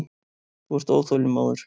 Þú ert óþolinmóður.